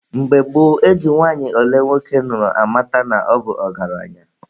Mgbe gboo, e ji nwanyị ole nwoke nụrụ amata na ọ bụ ọgaranya.